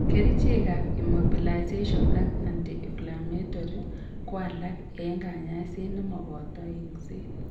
Kerichek ab immobilization ak anti inflammatory ko alak en kanyaiset nemoboto eng'set